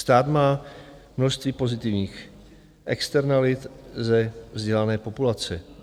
Stát má množství pozitivních externalit ze vzdělané populace.